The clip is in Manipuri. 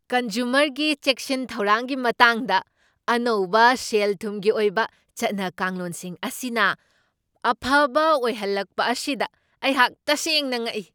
ꯀꯟꯖꯨꯃꯔꯒꯤ ꯆꯦꯛꯁꯤꯟ ꯊꯧꯔꯥꯡꯒꯤ ꯃꯇꯥꯡꯗ ꯑꯅꯧꯕ ꯁꯦꯜ ꯊꯨꯝꯒꯤ ꯑꯣꯏꯕ ꯆꯠꯅ ꯀꯥꯡꯂꯣꯟꯁꯤꯡ ꯑꯁꯤꯅ ꯑꯐꯕ ꯑꯣꯏꯍꯜꯂꯛꯄ ꯑꯁꯤꯗ ꯑꯩꯍꯥꯛ ꯇꯁꯦꯡꯅ ꯉꯛꯏ꯫